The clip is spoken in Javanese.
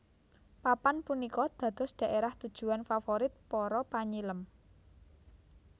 Papan punika dados daerah tujuan favorit para panyilem